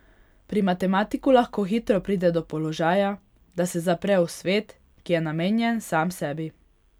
Pri matematiku lahko hitro pride do položaja, da se zapre v svet, ki je namenjen sam sebi.